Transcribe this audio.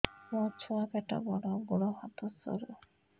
ମୋ ଛୁଆ ପେଟ ବଡ଼ ଗୋଡ଼ ହାତ ସରୁ